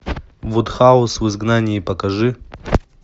вудхаус в изгнании покажи